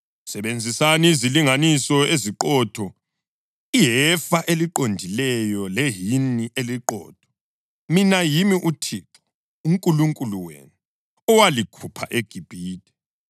Sebenzisani izilinganiso eziqotho, ihefa eliqondileyo lehini eliqotho. Mina yimi uThixo uNkulunkulu wenu owalikhupha eGibhithe.